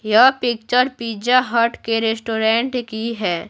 यह picture pizza hut के restaurant की है।